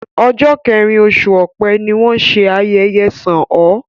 Ọ̀jọ̀ kẹrin oṣù Ọ̀pẹ ni wọ́n ṣé ayẹyẹ ṣàn ó